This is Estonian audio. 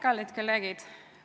Kallid kolleegid!